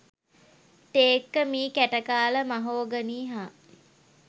තේක්ක මී කැටකාල මහෝගනී හා